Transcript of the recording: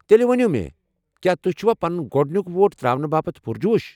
تیٚلہ ؤنِو مےٚ، کیٚا تو٘ہہِ چھِوا پنُن گۄڈنیُوک ووٹ تراونہٕ باپت پُرجوش ۔